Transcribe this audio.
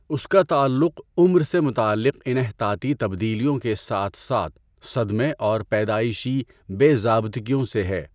اس کا تعلق عمر سے متعلق انحطاطی تبدیلیوں کے ساتھ ساتھ صدمے اور پیدائشی بے ضابطگیوں سے ہے۔